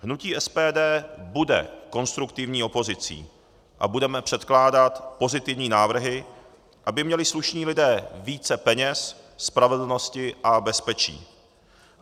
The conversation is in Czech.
Hnutí SPD bude konstruktivní opozicí a budeme předkládat pozitivní návrhy, aby měli slušní lidé více peněz, spravedlnosti a bezpečí.